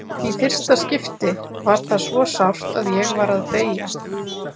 Í fyrsta skipti var það svo sárt að ég var að deyja.